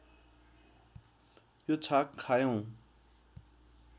यो छाक खायौँ